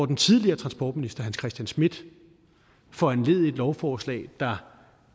den tidligere transportminister hans christian schmidt foranledigede et lovforslag der